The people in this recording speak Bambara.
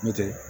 N'o tɛ